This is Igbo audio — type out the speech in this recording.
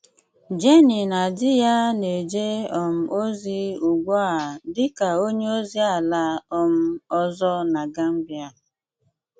Jènný na dì yá na-èjé um ozi ùgbù a dị́ ka ònye ozi àlá um òzọ̀ na Gàmbíà.